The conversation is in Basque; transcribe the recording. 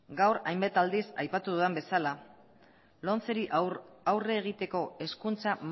gaur hainbat aldiz aipatu dudan bezala lomceri aurre egiteko hezkuntza